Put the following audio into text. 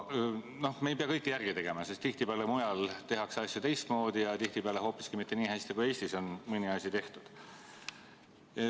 No me ei pea kõike järele tegema, sest mujal tehakse asju tihtipeale teistmoodi ja hoopiski mitte nii hästi, kui Eestis on mõni asi tehtud.